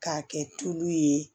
K'a kɛ tulu ye